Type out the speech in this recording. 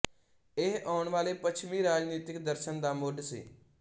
ਇਹ ਆਉਣ ਵਾਲੇ ਪੱਛਮੀ ਰਾਜਨੀਤਿਕ ਦਰਸ਼ਨ ਦਾ ਮੁਢ ਸੀ